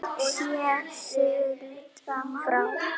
Sé siglt frá